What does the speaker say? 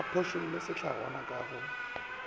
a phošolle sehlangwa ka go